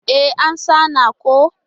E, an sanar ko.